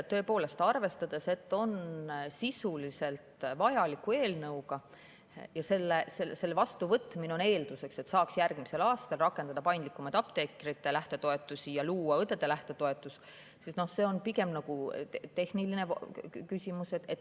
Kõigepealt, arvestades, et see on sisuliselt vajalik eelnõu ja selle vastuvõtmine on eelduseks, et saaks järgmisel aastal rakendada paindlikumaid apteekrite lähtetoetusi ja luua õdede lähtetoetus, on see pigem nagu tehniline küsimus.